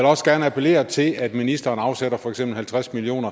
også gerne appellere til at ministeren afsætter for eksempel halvtreds million